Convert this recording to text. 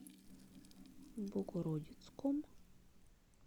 богородицком